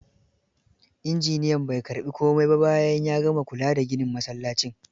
Injiniyan bai karbi komai ba bayan ya gama kula da ginin msallacin.